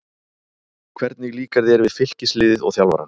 Hvernig líkar þér við Fylkisliðið og þjálfarann?